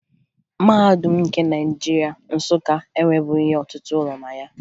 Mahadum nke Naịjirịa, Nsụka, enwebughi ọtụtụ ụlọ na ya